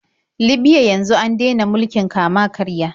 Libya yanzu an dena mulkin kama-karya.